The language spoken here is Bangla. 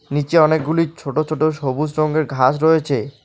নিচে অনেকগুলি ছোট ছোট সবুজ রঙের ঘাস রয়েছে।